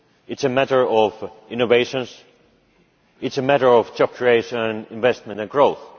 it is a matter of innovation it is a matter of job creation, investment and growth.